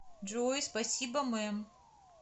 джой спасибо мэм